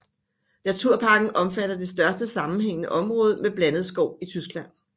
Naturparken omfatter det største sammenhæængende område med blandet skov i Tyskland